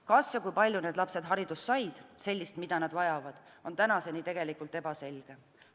Kas ja kui palju need lapsed haridust said – sellist, mida nad vajavad –, on tänaseni ebaselge.